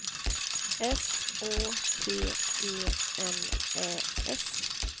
S Å T E N Ä S